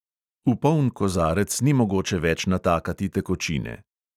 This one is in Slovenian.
V poln kozarec ni mogoče več natakati tekočine.